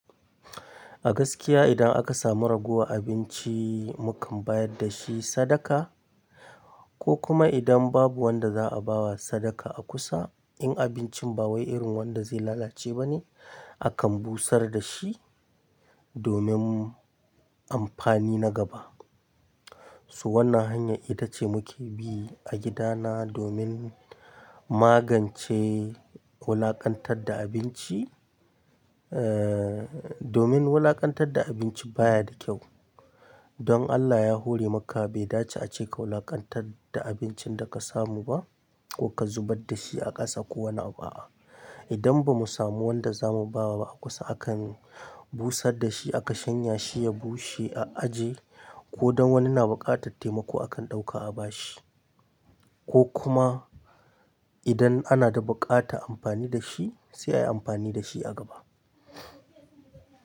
A gaskiya idan aka samu ragowar abinci, mukan bayar da shi sadaka ko kuma idan babu wanda za a bawa sadaka a kusa, in abincin ba wai irin wanda zai lalace ba ne, akan busar da shi domin amfani na gaba. So wannan hanya ita ce muke bi a gidana domin magance wulakantar da abinci, eh, domin wulakantar da abinci baya da kyau. Don Allah ya hore maka bai dace a ce ka wulakantad da abincin da ka samu ba ko ka zubad da shi a ƙasa ko wani abu a'a idan ba mu samu wanda za mu bawa a kusa akan busar da shi aka shanya shi ya bushe a aje ko don wani na buƙatar taimako akan ɗauka a ba shi ko kuma idan ana da buƙata amfani da shi sai ayi amfani da shi a gaba.